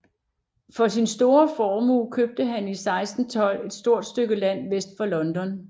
For sin store formue købte han i 1612 et stort stykke land vest for London